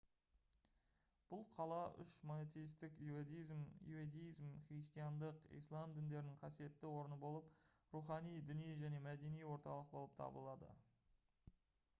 бұл қала үш монотейстік иуздаизм христиандық ислам діндерінің қасиетті орны болып рухани діни және мәдени орталық болып табылады